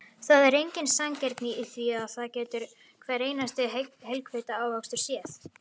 Það er engin sanngirni í því, það getur hver einasti heilvita ávöxtur séð.